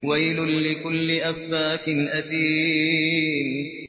وَيْلٌ لِّكُلِّ أَفَّاكٍ أَثِيمٍ